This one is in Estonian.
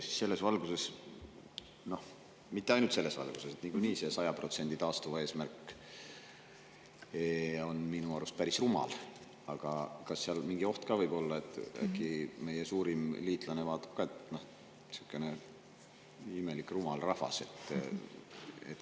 Selles valguses – no mitte ainult selles valguses, niikuinii see 100% taastuva eesmärk on minu arust päris rumal –, kas seal võib olla ka mingi selline oht, et äkki meie suurim liitlane vaatab ka, et sihuke imelik rumal rahvas?